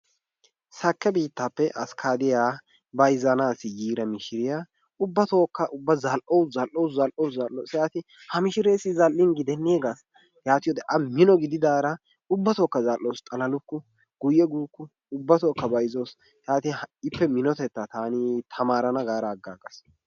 Sakke biittaappe abikkaaddiya bayzzanaassi yiida mishiriya ubbatookka ubba zal"awus, zal"awus, zal"awus. Ha mishireessi zal"in gidennee gaas. Yaatiyode A mino gididaara ubbatookka zal"awusu, xalalukku, guyye guukku. Ubbatookka bayzzawusu. Yaatin taani minotettaa ippe tamaarana gaada aggaagas.